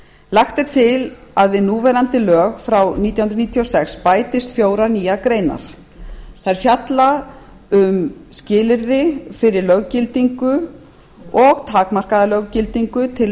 lagt er til að við núverandi lög frá nítján hundruð níutíu og sex bætist fjórar nýjar greinar þær fjalla um skilyrði fyrir löggildingu og takmarkaða löggildingu til